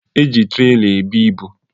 E ji trela ebu ibu